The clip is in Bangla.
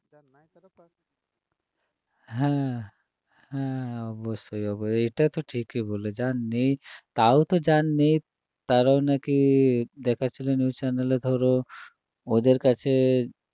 হ্যাঁ হ্যাঁ অবশ্যই অ~ এটা তো ঠিকই বললে যার নেই তাও তো যার নেই তারাও নাকি দেখাচ্ছিল news channel এ ধরো ওদের কাছে